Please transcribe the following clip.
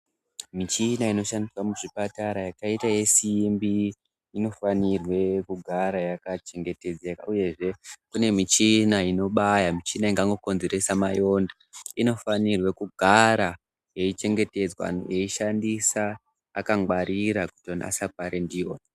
Michina inoshandiswa muzvipatara yakaita yesimbi inofanirwe kugara yakachengetedzeka, uyezve kune michina inobaya , michina ingangokonzeresa mayonda. Inofanirwe kugara yeichengetedzwa yeishandiswa akangwarira kutonasa kuparindiwa .